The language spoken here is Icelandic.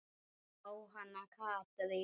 Jóhanna Katrín.